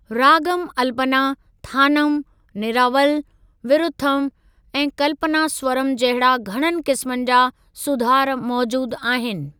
रागम अल्‍पना, थानम, निरावल, विरुथम, ऐं कल्‍पनास्‍वरम जहिड़ा घणनि किस्‍म जा सुधार मौजूद आहिनि।